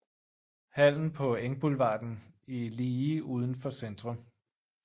Hallen på Engboulevarden i lige uden for Centrum